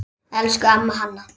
Elsku amma Hanna.